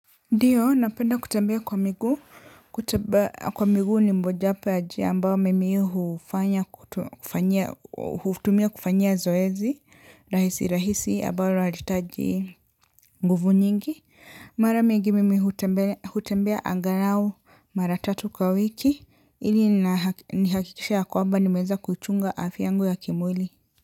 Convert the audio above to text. Ndiyo napenda kutembea kwa miguu kutembea kwa miguu ni moja wapo ya jambo mimi hutumia kufanyia zoezi rahisirahisi ambalo haliitaji nguvu nyingi mara mingi mimi hutembea angalau mara tatu kwa wiki ili nihakikishe ya kwamba nimeeza kuchunga afya yangu ya kimwili.